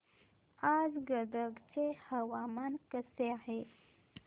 आज गदग चे हवामान कसे आहे